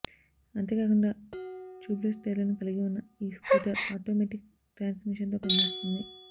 అంతేకాకుండా tubeless టైర్లను కలిగి ఉన్న ఈ స్కూటర్ ఆటోమేటిక్ ట్రాన్స్ మిషన్ తో పనిచేస్తుంది